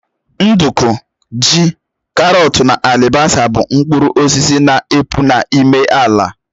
Nduku, ji, karọt na alibasa bụ mkpụrụ osisi na epụ n'ime ala